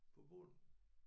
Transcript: På bunden